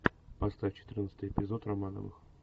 поставь четырнадцатый эпизод романовых